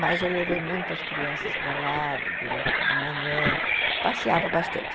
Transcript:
Mas eu levei muito as crianças para lá, de manhã, passeava bastante.